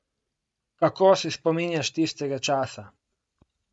Kako se spominjaš tistega časa?